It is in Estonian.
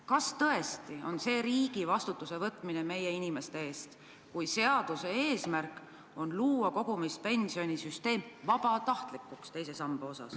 Kas tõesti on tegu riigi vastutuse võtmisega meie inimeste eest, kui seaduse eesmärk on muuta kohustuslik kogumispensionisüsteem vabatahtlikuks?